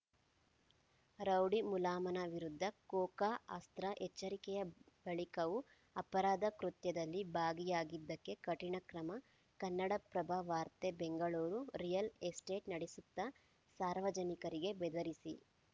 rowdy ಮುಲಾಮನ ವಿರುದ್ಧ ಕೋಕಾ ಅಸ್ತ್ರ ಎಚ್ಚರಿಕೆಯ ಬಳಿಕವೂ ಅಪರಾಧ ಕೃತ್ಯದಲ್ಲಿ ಭಾಗಿಯಾಗಿದ್ದಕ್ಕೆ ಕಠಿಣ ಕ್ರಮ ಕನ್ನಡಪ್ರಭ ವಾರ್ತೆ ಬೆಂಗಳೂರು ರಿಯಲ್‌ ಎಸ್ಟೇಟ್‌ ನಡೆಸುತ್ತಾ ಸಾರ್ವಜನಿಕರಿಗೆ ಬೆದರಿಸಿ